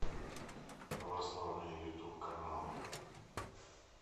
православные ютуб каналы